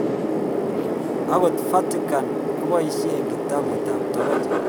Agot vatican kopoishen kitaput ap tokoch akinstagram youtube ag google+